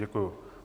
Děkuji.